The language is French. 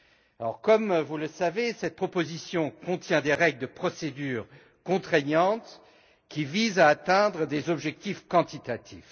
Alors, comme vous le savez, cette proposition contient des règles de procédure contraignantes qui visent à atteindre des objectifs quantitatifs.